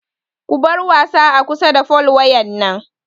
Ku bar wasa a kusa da fol wayan nan!